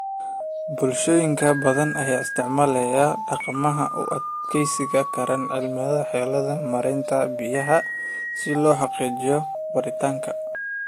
Bulshooyinka badan ayaa isticmaalaya dhaqamada u adkeysan kara cimilada xeeladahooda maaraynta biyaha si loo xaqiijiyo waaritaanka.